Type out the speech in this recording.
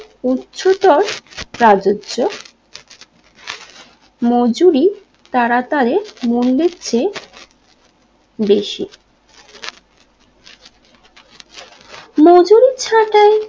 উচ্চতর প্রযোজ্য মজুরি তারা তারে মুন বৃদ্ধে বেশি মজুরির